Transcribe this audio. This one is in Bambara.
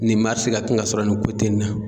Nin ka kan ka sɔrɔ nin nin na.